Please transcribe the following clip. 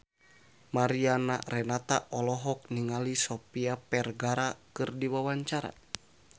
Mariana Renata olohok ningali Sofia Vergara keur diwawancara